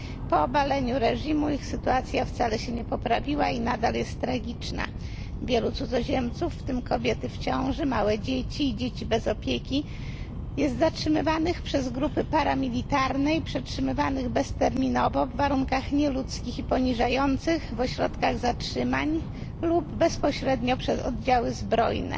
Po obaleniu reżimu ich sytuacja wcale się nie poprawiła i nadal jest tragiczna wielu cudzoziemców, w tym kobiety w ciąży, małe dzieci i dzieci bez opieki, jest zatrzymywanych przez grupy paramilitarne i przetrzymywanych bezterminowo w nieludzkich i poniżających warunkach w ośrodkach zatrzymań lub bezpośrednio przez oddziały zbrojne.